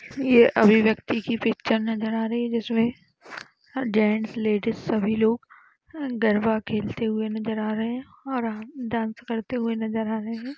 ये अभिव्यक्ति की पिक्चर नजर आ रही हैं जिसमे जेंट्स लेडिज सभी लोग गरबा खेलते हुए नजर आ रहे हैं और अ डांस करते हुए नजर आ रहे हैं।